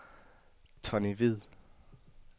Tonni Hvid